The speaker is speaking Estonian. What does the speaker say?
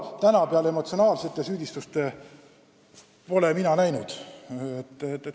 Täna ma peale emotsionaalsete süüdistuste pole muud näinud.